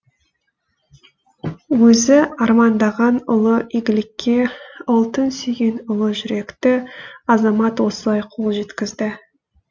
өзі армандаған ұлы игілікке ұлтын сүйген ұлы жүректі азамат осылай қол жеткізді